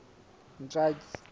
ntswaki